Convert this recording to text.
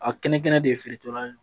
A kɛnɛ kɛnɛ de ye feere tora ye